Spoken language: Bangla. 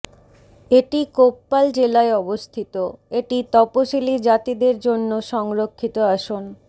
এটি কোপ্পাল জেলায় অবস্থিত এটি তপসিলী জাতিদের জন্য সংরক্ষিত আসন